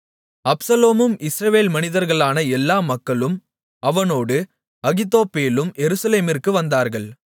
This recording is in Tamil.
அப்சலோமும் இஸ்ரவேல் மனிதர்களான எல்லா மக்களும் அவனோடு அகித்தோப்பேலும் எருசலேமிற்கு வந்தார்கள்